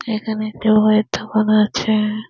এখানে একটা বইয়ের দোকান আছে।